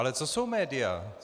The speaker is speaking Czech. Ale co jsou média?